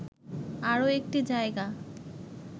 আরো একটি জায়গা